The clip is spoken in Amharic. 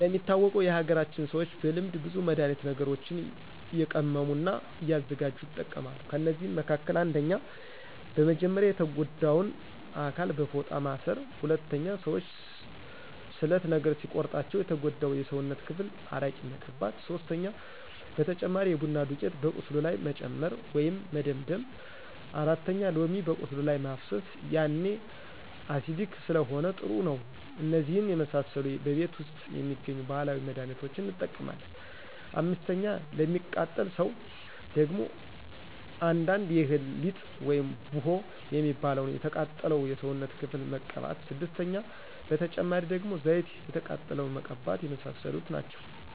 እንደሚታወቀው የሀገራችን ሰዎች በልምድ ብዙ መድሀኒት ነገሮችንእየቀመሙ እና እያዘጋጅ ይጠቀማሉ ከእነዚህ መካከልም። 1 :-በመጀመርያ የተጎዳውን አካል በፎጣ ማስር 2:-ሰዎች ስለት ነገር ሲቆርጣቸው የተጎዳው የስውነት ክፍል አረቂ መቅባት 3:-በተጨማሪ የቡና ዱቂት በቁስሉ ላይ መጨመር ወይም መደምደም 4:-ሎሚ በቁስሉ ላይ ማፍሰሰ ያኔ አሲዲክ ስለሆነ ጥሩ ነው እነዚህን የመሰሉ በቤት ውስጥ የሚገኙ ባህላዊ መድህኒቶችን እንጠቀማለን። 5፦ ለሚቃጠል ሰው ደግሞ አንዳንዱ የእህል ሊጥ ውይም ቡሆ የሚባለውን የተቃጠለው የሰውነት ክፍል መቅባት 6:- በተጨማሪ ደግሞ ዘይት የተቃጠለውን መቀባተ የመሳሰሉት ናቸው